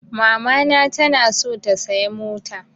Mamana ta na so ta saya mota